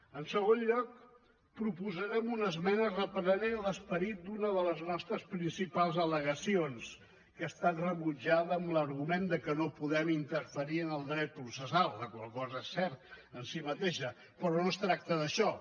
en segon lloc proposarem una esmena reprenent l’esperit d’una de les nostres principals al·legacions que ha estat rebutjada amb l’argument que no podem interferir en el dret processal la qual cosa és certa en si mateixa però no es tracta d’això